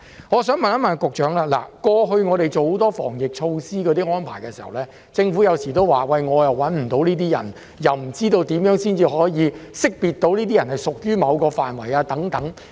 我想追問局長，過去我們做了很多防疫措施和安排，有時候政府也會說找不到人，又說不知道怎樣才可以識別出屬於某個範圍的人士等。